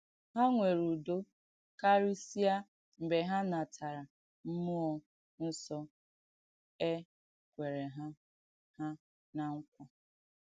Ha nwèrè ùdò kàrìsìà mgbè hà nàtàrà m̀múọ̀ ǹsọ̀ è kwèrè hà hà ná ǹkwà.